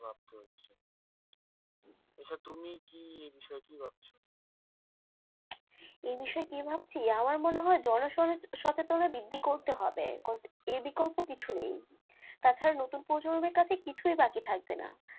আচ্ছা তুমি কি এ বিষয়ে কি ভাবছো? এ বিষয়ে কি ভাবছি? আমার মনে হয় জন সচেতনতা বৃদ্ধি করতে হবে এর বিকল্প কিছু নেই তাছাড়া নতুন প্রজন্মের কাছে কিছুই বাকি থাকবে না,